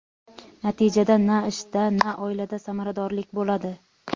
Natijada na ishda na oilada samaradorlik bo‘ladi.